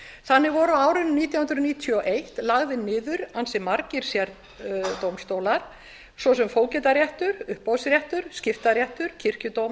þannig voru á árinu nítján hundruð níutíu og eitt lagðir niður ansi margir sérdómstólar svo sem fógetaréttur uppboðsréttur skiptaréttur kirkjudómur sakadómur í ávana og